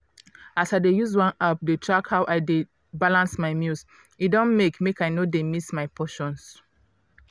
as i dey use one app dey track how i dey balance my meals e don make make i no dey miss my portions.